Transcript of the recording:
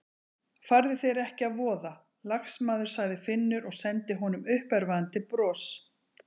Farðu þér ekki að voða, lagsmaður sagði Finnur og sendi honum uppörvandi bros.